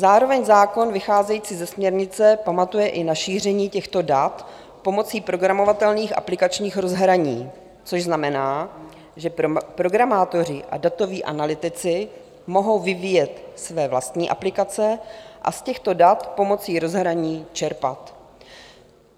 Zároveň zákon vycházející ze směrnice pamatuje i na šíření těchto dat pomocí programovatelných aplikačních rozhraní, což znamená, že programátoři a datoví analytici mohou vyvíjet své vlastní aplikace a z těchto dat pomocí rozhraní čerpat.